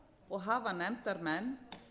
og hafa nefndarmenn